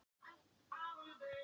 Það var til háborinnar skammar.